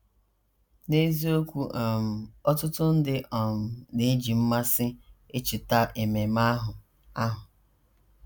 N’eziokwu um, ọtụtụ ndị um na - eji mmasị echeta ememe ahụ. ahụ.